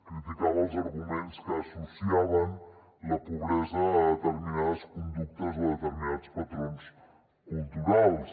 criticava els arguments que associaven la pobresa a determinades conductes o a determinats patrons culturals